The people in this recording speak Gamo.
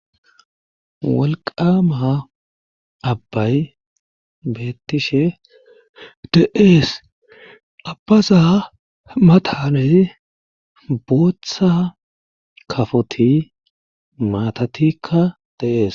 walqama abbay beettishe de'ees abbaza matan bootha kafoti maatatikka deees